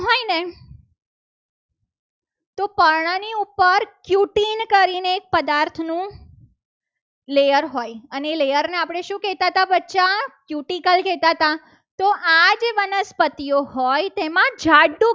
તો પર્ણની ઉપર cutin કરીને એક પદાર્થનું layer હોય ને એ layer ને આપણે શું કહેતા હતા? બચ્ચા cutical કહેતા હતા. તો આજે વનસ્પતિઓ હોય તેમાં જાડુ